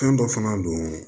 Fɛn dɔ fana don